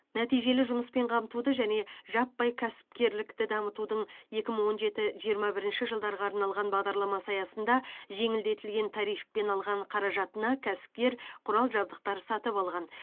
нәтижелі жұмыспен қамтуды және жаппай кәсіпкерлікті дамытудың екі мың он жеті жиырма бірінші жылдарға арналған бағдарламасы аясында жеңілдетілген тарифпен алған қаражатына кәсіпкер құрал жабдықтар сатып алған